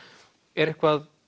er eitthvað